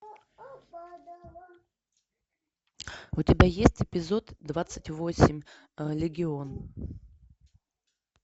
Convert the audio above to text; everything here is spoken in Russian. у тебя есть эпизод двадцать восемь легион